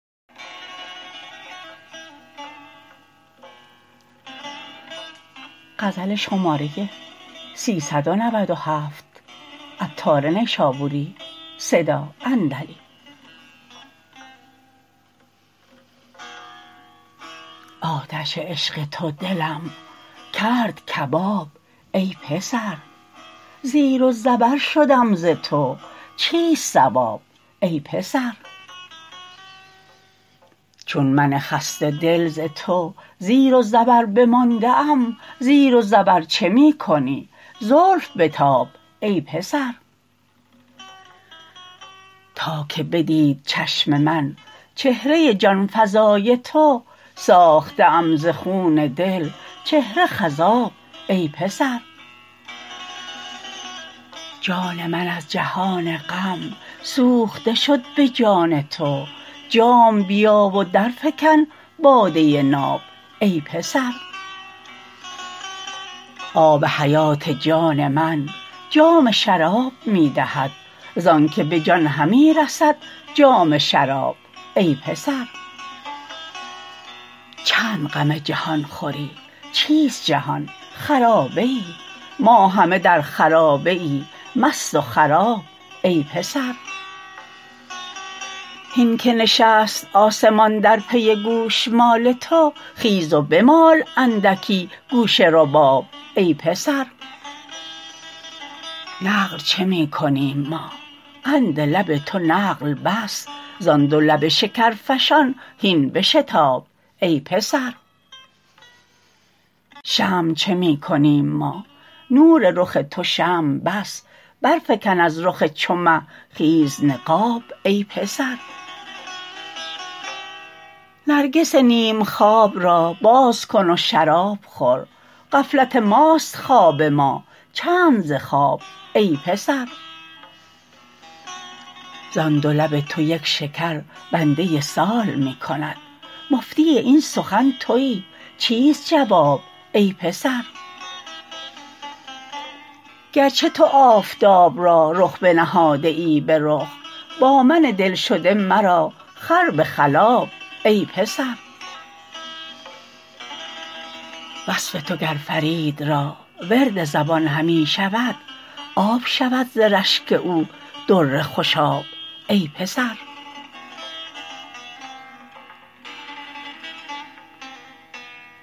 آتش عشق تو دلم کرد کباب ای پسر زیر و زبر شدم ز تو چیست صواب ای پسر چون من خسته دل ز تو زیر و زبر بمانده ام زیر و زبر چه می کنی زلف بتاب ای پسر تا که بدید چشم من چهره جانفزای تو ساخته ام ز خون دل چهره خضاب ای پسر جان من از جهان غم سوخته شد به جان تو جام بیار و درفکن باده ناب ای پسر آب حیات جان من جام شراب می دهد زانکه به جان همی رسد جام شراب ای پسر چند غم جهان خوری چیست جهان خرابه ای ما همه در خرابه ای مست و خراب ای پسر هین که نشست آسمان در پی گوشمال تو خیز و بمال اندکی گوش رباب ای پسر نقل چه می کنیم ما قند لب تو نقل بس زان دو لب شکرفشان هین بشتاب ای پسر شمع چه می کنیم ما نور رخ تو شمع بس برفکن از رخ چو مه خیز نقاب ای پسر نرگس نیم خواب را باز کن و شراب خور غفلت ماست خواب ما چند ز خواب ای پسر زان دو لب تو یک شکر بنده سال می کند مفتی این سخن تویی چیست جواب ای پسر گرچه تو آفتاب را رخ بنهاده ای به رخ با من دلشده مرا خر به خلاب ای پسر وصف تو گر فرید را ورد زبان همی شود آب شود ز رشک او در خوشاب ای پسر